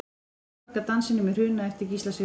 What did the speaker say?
Málverk af Dansinum í Hruna eftir Gísla Sigurðsson.